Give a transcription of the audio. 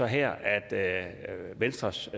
her at venstres